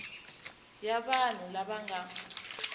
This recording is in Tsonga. ya vanhu lava va nga